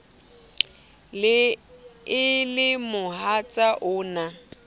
e le mohatsa o na